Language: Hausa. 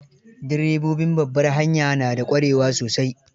Direbobin babbar hanya na da ƙwarewa sosai.